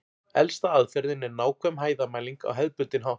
Elsta aðferðin er nákvæm hæðarmæling á hefðbundinn hátt.